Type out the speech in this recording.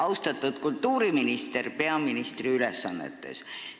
Austatud kultuuriminister peaministri ülesannetes!